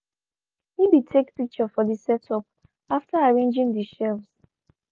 he be take picture for de setup after arranging de shelves.